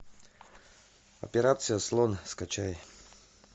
операция слон скачай